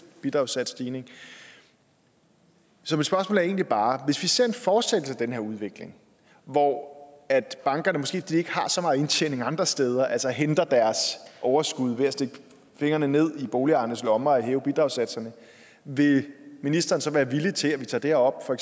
bidragssatsstigning så mit spørgsmål er egentlig bare hvis vi ser en fortsættelse af den her udvikling hvor bankerne måske fordi de ikke har så meget indtjening andre steder altså henter deres overskud ved at stikke fingrene ned i boligejernes lommer og hæve bidragssatserne vil ministeren så være villig til at vi tager det her op for